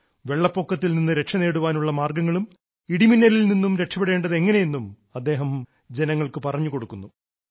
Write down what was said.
വെള്ളപ്പൊക്കത്തിൽ നിന്ന് രക്ഷനേടാനുള്ള മാർഗ്ഗങ്ങളും ഇടിമിന്നലിൽ നിന്നും രക്ഷപ്പെടേണ്ടത് എങ്ങനെയെന്നും അദ്ദേഹം ജനങ്ങൾക്ക് പറഞ്ഞുകൊടുക്കുന്നു